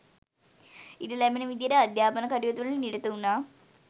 ඉඩ ලැබෙන විදිහට අධ්‍යාපන කටයුතුවල නිරත වුණා